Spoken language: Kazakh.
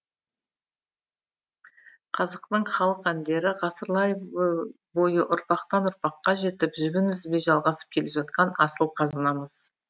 қазақтың халық әндері ғасырлар бойы ұрпақтан ұрпаққа жетіп жібін үзбей жалғасып келе жатқан асыл қазынамыз